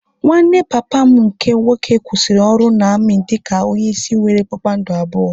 Nwanne papa m nke nwoke kwụsịrị ọrụ na-amị dị ka onye isi nwéré kpakpando abụọ